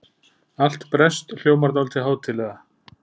Allt breskt hljómar dálítið hátíðlega.